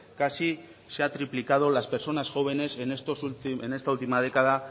casi se ha triplicado las personas jóvenes en esta última década